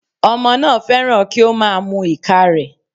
Ọmọ náà fẹ́ràn kí ó má a mu ìka rẹ̀